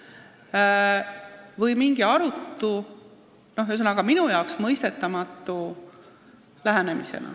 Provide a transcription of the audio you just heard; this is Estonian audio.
See on mingi arutu, minu jaoks mõistetamatu lähenemine.